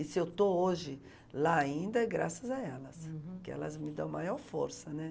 E se eu estou hoje lá ainda, é graças a elas. Uhum. Porque elas me dão a maior força, né?